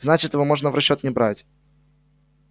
значит его можно в расчёт не брать